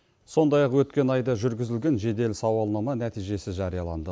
сондай ақ өткен айда жүргізілген жедел сауалнама нәтижесі жарияланды